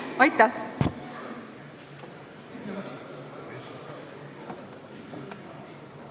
Aitäh!